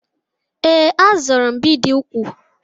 Ee, a zụrụ m bidi úkwù.